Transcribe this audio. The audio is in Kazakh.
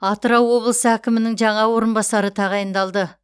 атырау облысы әкімінің жаңа орынбасары тағайындалды